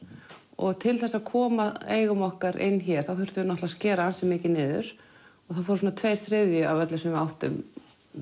og til þess að koma eigum okkar inn hér þá þurftum við að skera ansi mikið niður og svona tveir þriðju af öllu sem við áttum